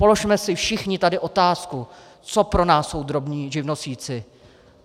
Položme si všichni tady otázku, co pro nás jsou drobní živnostníci.